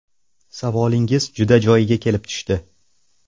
Savolingiz juda joyiga kelib tushdi.